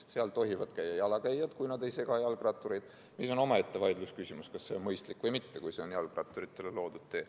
Seal tohivad käia ka jalakäijad, kui nad ei sega jalgrattureid – on omaette vaidlusküsimus, kas see on mõistlik või mitte, kui see on ikkagi jalgratturitele loodud tee.